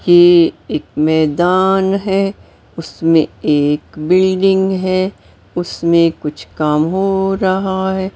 कि एक मैदान है उसमें एक बिल्डिंग है उसमें कुछ काम हो रहा है।